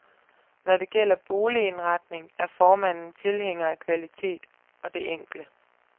Når det gælder boligindretning, er formanden tilhænger af kvalitet og det enkle.